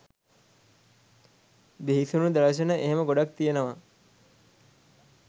බිහිසුණු දර්ශන එහෙම ගොඩක් තියෙනවා.